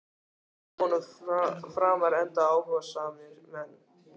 Það gekk vonum framar enda áhugasamir menn.